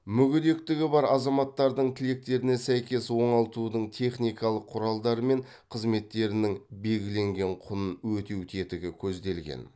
мүгедектігі бар азаматтардың тілектеріне сәйкес оңалтудың техникалық құралдары мен қызметтерінің белгіленген құнын өтеу тетігі көзделген